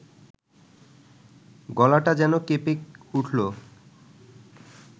গলাটা যেন কেঁপে উঠল